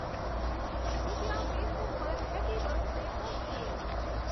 કૃપયા ફેસબુક પર happy birthday post કરો